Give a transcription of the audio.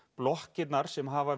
blokkirnar sem hafa